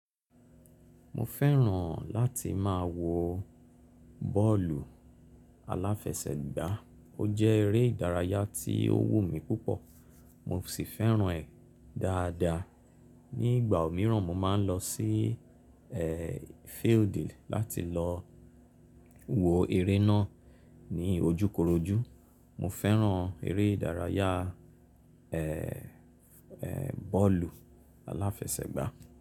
Mo fẹ́ràn láti máa wo bọ́ọ̀lù aláfẹsẹ̀gbá ó jẹ́ eré ìdárayá tí ó wù mí púpọ̀ mo sì fẹ́ràn ẹ̀ dáadáa. Ni ìgbà mìíràn mo máa ń lọ sí ẹ́ field láti lọ wo eré náà ní ojúkorojú. Mo fẹ́ràn eré ìdárayá ẹ́ ẹ́ bọ́ọ̀lù aláfẹsẹ̀gbá.